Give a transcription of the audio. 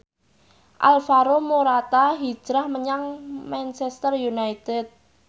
Alvaro Morata hijrah menyang Manchester united